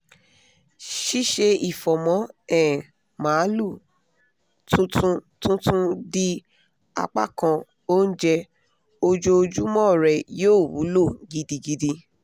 ṣíṣe ifọ̀mọ́ um maalu tuntun tuntun di apakan onjẹ ojoojumọ́ rẹ yóò wúlò gidigidi